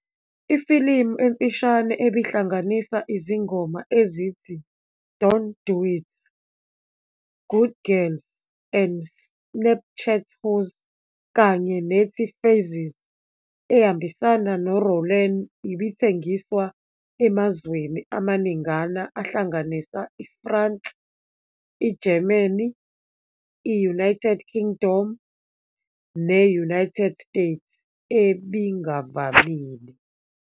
Ifilimu emfishane ebihlanganisa izingoma ezithi "Don't Do It'", "Good Girls and Snapchat Hoes" kanye nethi "Phases" ehambisana no-Rowlene, ibithengiswa emazweni amaningana ahlanganisa i-France, i-Germany, i-United Kingdom ne-United States, ebingavamile.